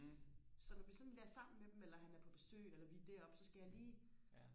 så når vi sådan er sammen med dem eller han er på besøg eller vi er deroppe så skal jeg lige